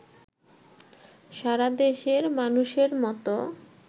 সারাদেশের মানুষের মতো